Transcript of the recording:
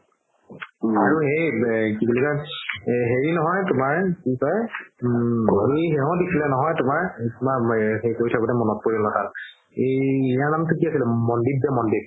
আৰু সেই কি বুলি কই এই হেৰি নহয় তুমাৰ কি কয় উম তুমাৰ মনত পৰিল হথাত ইয়াৰ নামটো কি আছিলে মন্দিপ যে মন্দিপ